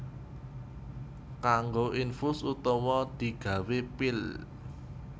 Kanggo infus utawa digawé pil